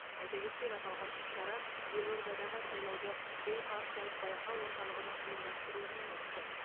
айта кетсек аталған іс шара елордадағы сайлауды бейпартиялық байқау орталығының ұйымдастыруымен өтті